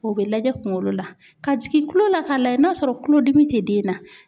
O bɛ lajɛ kunkolo la, ka jigin kulo la ka layɛ n'a sɔrɔ kulodimi tɛ den na.